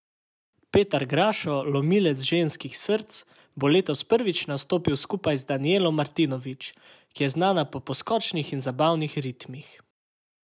Petar Grašo, lomilec ženskih src, bo letos prvič nastopil skupaj z Danijelo Martinović, ki je znana po poskočnih in zabavnih ritmih.